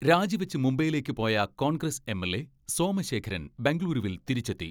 രാജി വെച്ച് മുംബൈയിലേക്ക് പോയ കോൺഗ്രസ് എം.എൽ.എ സോമശേഖരൻ ബംഗുളൂരുവിൽ തിരിച്ചെത്തി.